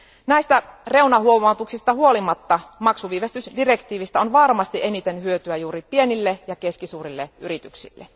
Näistä reunahuomautuksista huolimatta maksuviivästysdirektiivistä on varmasti eniten hyötyä juuri pienille ja keskisuurille yrityksille.